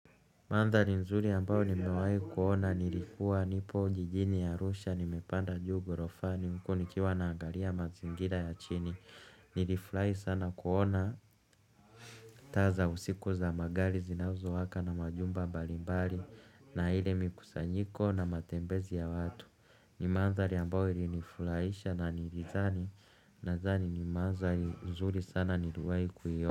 Mandhali nzuri ambao nimewahi kuona nilikuwa nipo jijini arusha nimepanda juu ghorofani huku nikiwa naangalia mazingira ya chini nilifurahi sana kuona taa za usiku za magali zinazowaka na majumba mbalimbali na ile mikusanyiko na matembezi ya watu ni mandhali ambayo ilinifurahisha na nilizani nadhani ni mandhali nzuri sana niliwahi kuio.